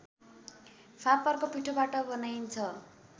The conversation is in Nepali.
फापरको पिठोबाट बनाइन्छ